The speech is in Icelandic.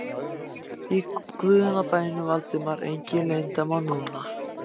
Í guðanna bænum, Valdimar, engin leyndarmál núna!